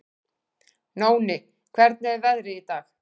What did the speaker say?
Nóni, hvernig er veðrið í dag?